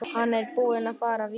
Hann er búinn að fara víða.